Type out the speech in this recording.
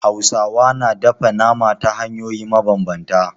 Hausawa na dafa nama ta hanyoyi mabambanta.